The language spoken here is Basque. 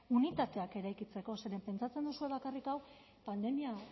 unitateak eraikitzeko zeren pentsatzen duzue bakarrik hau pandemia